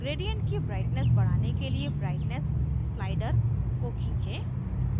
gradient की brightness बढ़ाने के लिए brightness स्लाइडर को खींचें